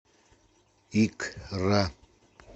икра